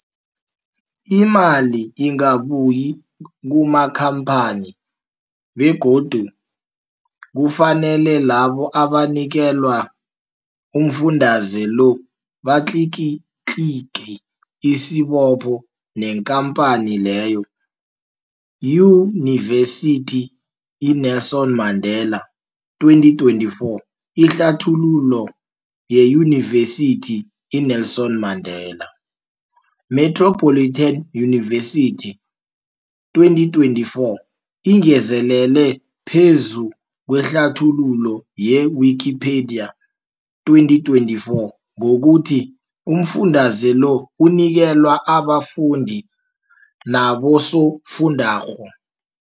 Imali ingabuyi kumakhamphani begodu kufanele labo abanikelwa umfundaze lo batlikitliki isibopho neenkhamphani leyo, Yunivesity i-Nelson Mandela 2024. Ihlathululo yeYunivesithi i-Nelson Mandela Metropolitan University, 2024, ingezelele phezu kwehlathululo ye-Wikipedia, 2024, ngokuthi umfundaze lo unikelwa abafundi nabosofundwakgho.